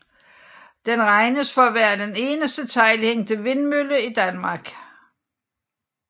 Den regnes for at være den eneste teglhængte vindmølle i Danmark